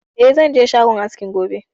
Eh, zan je shagon askin gobe